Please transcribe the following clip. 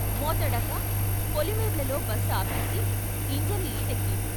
మోతెడక పొలిమేర్లల్లో బస్ ఆపేసి ఇంజను హీటెక్కింది.